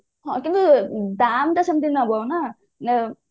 ହଁ କିନ୍ତୁ ଦାମ ତ ସେମିତି ନବ ନା